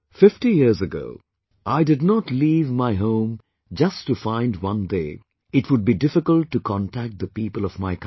Fifty years ago, I did not leave my home just to find one day it would be difficult to contact the people of my own country